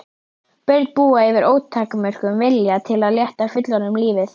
Börn búa yfir ótakmörkuðum vilja til að létta fullorðnum lífið.